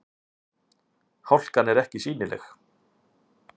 Hálkan er ekki sýnileg